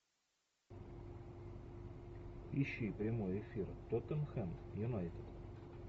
ищи прямой эфир тоттенхэм юнайтед